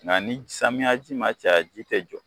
Nka ni samiya ji ma caya ji tɛ jɔ.